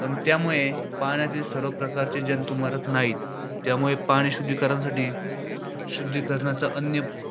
पण त्यामुळे पाण्यातील सर्व प्रकारचे जंतू मरत नाही. त्यामुळे पाणी शुद्धीकरणसाठी शुद्धीकरणाचा अन्य